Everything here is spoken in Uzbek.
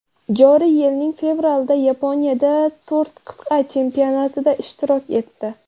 Joriy yilning fevralida Yaponiyada to‘rt qit’a chempionatida ishtirok etdi.